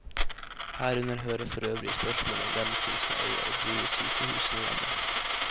Herunder hører forøvrig spørsmålet om hvem som skal eie og drive sykehusene hjemme.